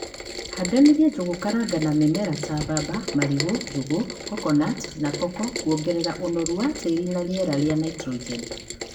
handanïria njūgūkaranga na mïmera ta mbamba, marigû ,njûgû, kokonati na koko kuongerera ûnoru wa tïri na rïera rïa ntrogeni.